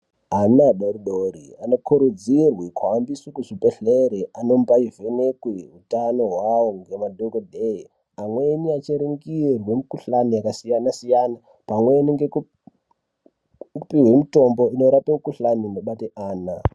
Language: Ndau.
Ana adoridori anokurudzirwe kuhambe kuzvibhehleri anombaivhenekwe utano hwavo ngemadhogodheye. Amweni achiringirwe mikuhlani yakasiyana-siyana pamweni ngekupiwe mitombo inorape mikuhlani inobate ana.